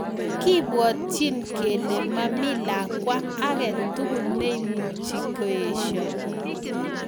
Kipwatchin kelee Mami lakwaa age tugul neimuchii koeshoo